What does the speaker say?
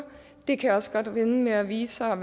det kan også godt ende med at vise sig at